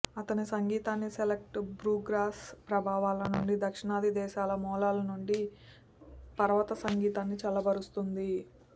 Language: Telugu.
అతని సంగీతాన్ని సెల్టిక్ బ్లూగ్రాస్ ప్రభావాల నుండి దక్షిణాది దేశాల మూలాల నుండి పర్వత సంగీతాన్ని చల్లబరుస్తుంది